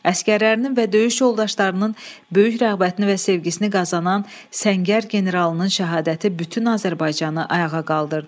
Əsgərlərinin və döyüş yoldaşlarının böyük rəğbətini və sevgisini qazanan Səngər generalının şəhadəti bütün Azərbaycanı ayağa qaldırdı.